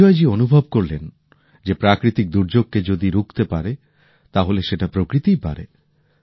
বিজয়জী অনুভব করলেন যে প্রাকৃতিক দুর্যোগকে যদি কেউ রুখতে পারে তাহলে সেটা প্রকৃতিই পারে